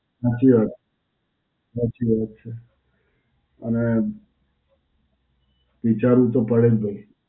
સાચી વાત. સાચી વાત છે. અને વિચારવું તો પડે જ ભઈ.